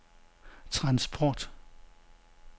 transport